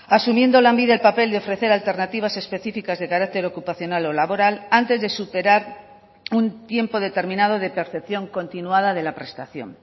asumiendo lanbide el papel de ofrecer alternativas específicas de carácter ocupacional o laboral antes de superar un tiempo determinado de percepción continuada de la prestación